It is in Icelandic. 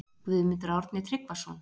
Guðmundur Árni Tryggvason